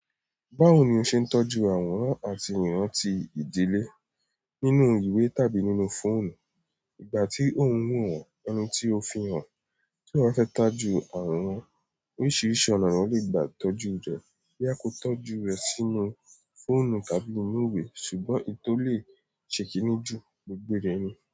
Báwo ni o ṣe ń tọ́jú àwòrán àti ìrántí ìdílé nínú ìwé tàbí nínú fóònù? Ìgbà tí ò wò wọ́n ẹnití o fi hàn tí èèyàn ba fẹ́ tojú àwòrán oríṣiríṣi ọ̀nà ni èèyàn le gbà tọ́jú rẹ̀, boya kò tọ́jú rẹ̀ sínú fóònù tàbí nínú ìwé ṣùgbọ́n iyí tó lè ṣe kìíní jù gbogbo dẹ̀ ni.